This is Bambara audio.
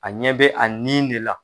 A ɲɛ bɛ a nin de la.